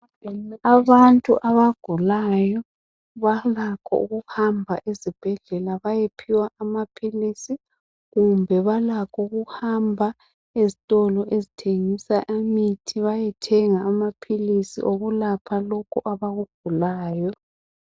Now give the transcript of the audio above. Abantu abagulayo balakho ukuhamba ezibhedlela bayephiwa amaphilisi, kumbe balakho ukuhamba ezitolo ezithengisa imithi bayethenga amaphilisi okulapha lokho abakugulayo.